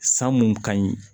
San mun ka ɲi